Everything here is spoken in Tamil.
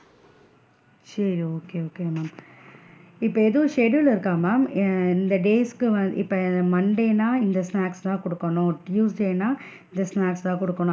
சேரி okay okay ma'am இப்ப எதும் schedule இருக்கா ma'am ஆஹ் இந்த date ஸ்க்கு வந்து இப்ப monday ன்னா இந்த snacks தான் குடுக்கணும் tuesday ன்னா இந்த,